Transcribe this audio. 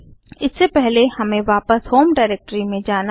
इससे पहले हमें वापस होम डाइरेक्टरी में जाना है